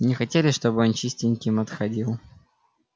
не хотели чтобы он чистеньким отходил